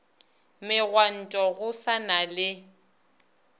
megwanto go sa na le